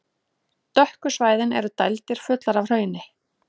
Dökku svæðin eru dældir, fullar af hrauni.